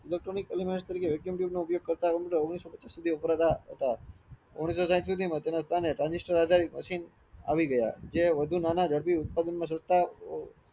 electronic elements તરીકે vacuum tube નો ઉપયોગ કરતા કમ્પ્યુટર ઓગણીસો પચીસ સુધી વાપરતા હતા ઓગણીસો સાંઈઠ સુધીમાં transistor આધારિત machine આવી ગયા જે વધુ નાના ઝડપી ઉદ્યપદાન માં સસ્તા